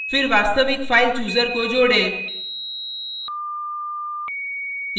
फिर वास्तविक file chooser को जोडें